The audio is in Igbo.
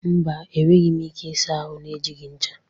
Mba, enweghị m ike ịsa ahụ na-ejighị ncha